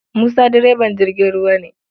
Musa direban jirgin ruwa ne.